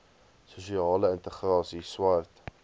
sosiale integrasie swart